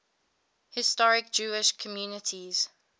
historic jewish communities